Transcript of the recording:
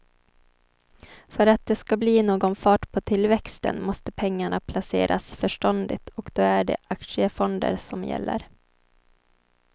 För att det ska bli någon fart på tillväxten måste pengarna placeras förståndigt och då är det aktiefonder som gäller.